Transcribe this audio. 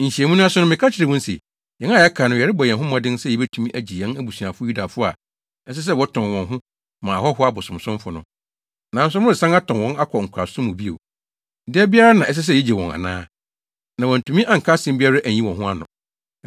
Nhyiamu no ase no, meka kyerɛɛ wɔn se, “Yɛn a yɛaka no, yɛrebɔ yɛn ho mmɔden sɛ yebetumi agye yɛn abusuafo Yudafo a ɛsɛ sɛ wɔtɔn wɔn ho ma ahɔho abosonsomfo no. Nanso moresan atɔn wɔn akɔ nkoasom mu bio. Da biara na ɛsɛ sɛ yegye wɔn ana?” Na wɔantumi anka asɛm biara anyi wɔn ho ano.